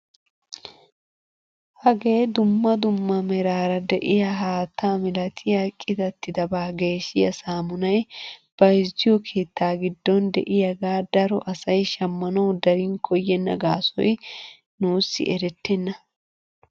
Hagee dumma dumma meraara de'iyaa haattaa milatiyaa qitattidabaa geshshiyaa samunaay bayzziyoo keettaa giddon de'iyaagaa daro asay shammanawu darin koyenna gaasoy nuusi erettena!